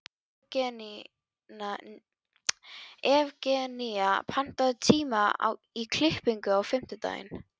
Evgenía, pantaðu tíma í klippingu á fimmtudaginn.